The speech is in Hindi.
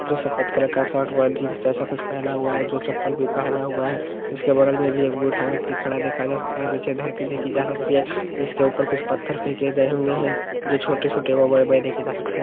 जो सफ़ेद कलर का शर्ट व जीन्स जैसा कुछ पेहना हुआ है जो चप्पल भी पेहना हुआ है उसके बगल में भी एक बूढ़ा व्यक्ति खड़ा देखा जा सकता है नीचे धरती देखी जा सकती है जिसके ऊपर कुछ पत्थर फेके गए हुए है जो छोटे-छोटे व बड़े-बड़े देखे जा सकते --